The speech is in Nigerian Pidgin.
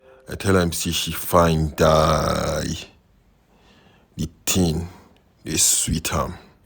I tell am say she fine die, the thing dey sweet am